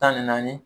Tan ni naani